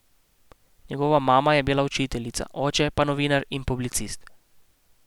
Njegova mama je bila učiteljica, oče pa novinar in publicist.